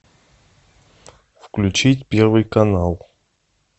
включить первый канал